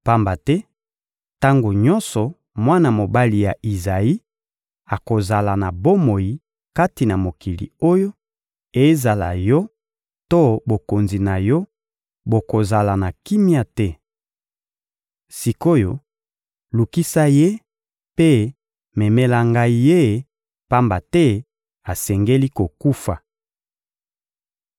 Pamba te tango nyonso mwana mobali ya Izayi akozala na bomoi kati na mokili oyo, ezala yo to bokonzi na yo, bokozala na kimia te. Sik’oyo, lukisa ye mpe memela ngai ye, pamba te asengeli kokufa.